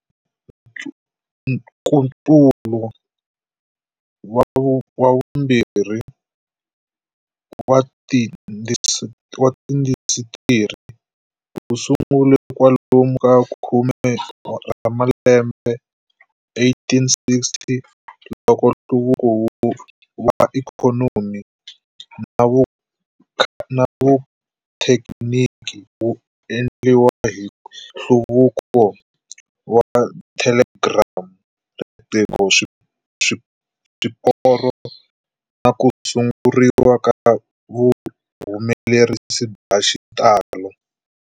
Nkutsulo wa vumbirhi wa tiindasitiri wu sungule kwalomu ka khume ra malembe 1860, loko nhluvuko wa ikhonomi na vuthekiniki wu endliwa hi nhluvukiso wa thelegiramu, riqingho, swiporo na ku sunguriwa ka vuhumelerisi bya xitalo.